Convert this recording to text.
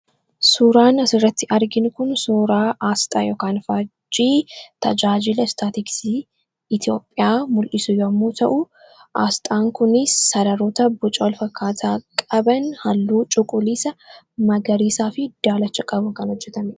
Suuraan asirratti arginu kun suuraa aasxaa yookiin faajjii tajaajila Istaatiksii Itiyoophiyaa mul'isu yemmuu ta'u aasxaan kunis sararoota boca walfakkaataa qaban halluu Cuquliisa, Magariisaa fi daalacha qabuun kan hojjetamedha.